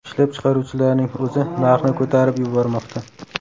Ishlab chiqaruvchilarning o‘zi narxni ko‘tarib yubormoqda.